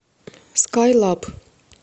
скайлаб